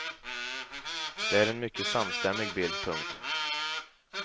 Det är en mycket samstämmig bild. punkt